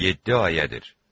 Yeddi ayədir.